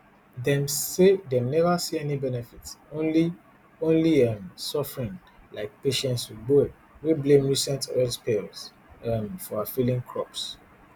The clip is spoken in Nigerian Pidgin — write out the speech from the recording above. dem say dem neva see any benefit only only um suffering like patience ogboe wey blame recent oil spills um for her failing crops